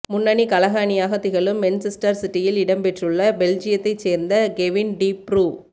முன்னணி கழக அணியாக திகழும் மென்செஸ்டர் சிட்டியில் இடம்பெற்றுள்ள பெல்ஜியத்தைச் சேர்ந்த கெவின் டி ப்ரூ